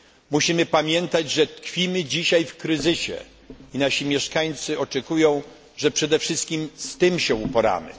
Musimy pamiętać, że tkwimy dzisiaj w kryzysie i nasi mieszkańcy oczekują, że przede wszystkim z tym się uporamy.